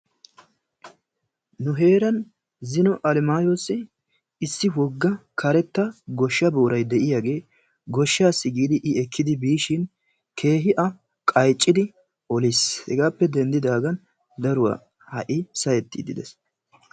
Nu heeran issi almayoossi issi wogga karetta gooshshaa boray de'iyaagee goshshaasi giidi i ekkidi biishshin keehi a qayccidi oliis. Hegaappe dandidaagan daruwaa ha'i saahettiidi de'ees.